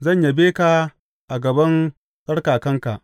Zan yabe ka a gaban tsarkakanka.